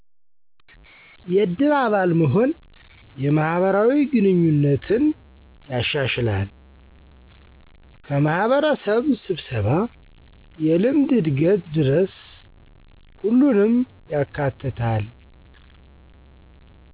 የእድር አባል መሆን የማህበራዊ ግንኙነትን ያሻሸላል፣ ከማህበረሰብ ሰብሰባ የልምድ እድገት ድረሰ ሁሉንም ያካትታል።